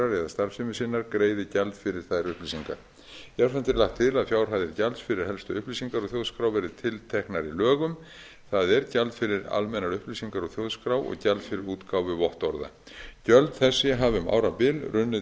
starfsemi sinnar greiði gjald fyrir þær upplýsingar jafnframt er lagt til að fjárhæðir gjalds fyrir helstu upplýsingar úr þjóðskrá verði tilteknar í lögum það er gjald fyrir almennar upplýsingar úr þjóðskrá og gjald fyrir útgáfu vottorða gjöld þessi hafa um árabil runnið